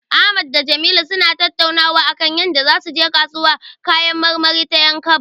Ahmad da Jamilu suna tattaunawa akan yadda zasu je kasuwar kayan marmari ta 'Yankaba.